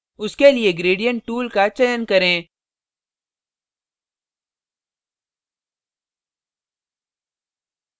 उसके लिए gradient tool का चयन करें